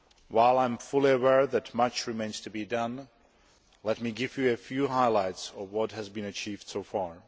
While I am fully aware that much remains to be done, let me give you a few highlights of what has been achieved so far.